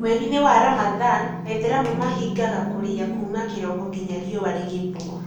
Mweri-inĩ wa Ramadhan, Aithĩramu mahingaga kũrĩa kuma kĩroko nginya riũa rĩngĩthũa